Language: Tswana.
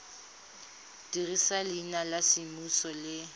dirisa leina la semmuso le